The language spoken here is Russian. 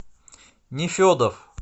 нефедов